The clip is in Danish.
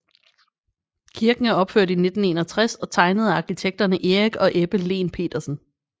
Kirken er opført i 1961 og tegnet af arkitekterne Erik og Ebbe Lehn Petersen